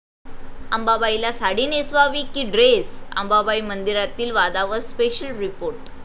अंबाबाईला साडी नेसवावी की ड्रेस?,अंबाबाई मंदिरातील वादावर स्पेशल रिपोर्ट